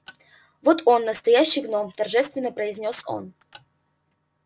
вот он настоящий гном торжественно произнёс он